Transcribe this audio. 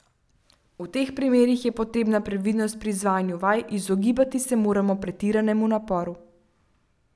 V teh primerih je potrebna previdnost pri izvajanju vaj, izogibati se moramo pretiranemu naporu.